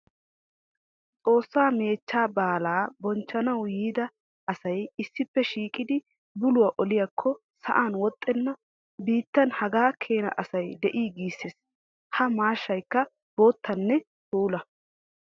Xoosa meechcha baalla bonchchannawu yiidda asay issippe shiiqiddi bulluwa oliyakko sa'an woxxenna biittan haga keena asay de'i gisees. Ha maashshaykka boottanne puula.